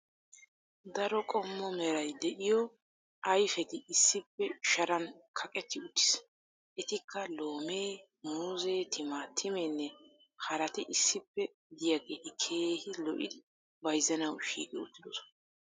Daro qommo meray diyo ayfetti issippe sharan kaqetti uttiis. Etikka loomee, muuzzee, timaatimeenne haraati issippe diyageeti keehi lo'idi bayzzanawu shiiqi uttidosona.